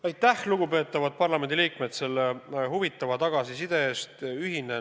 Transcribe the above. Aitäh, lugupeetavad parlamendiliikmed, selle huvitava tagasiside eest!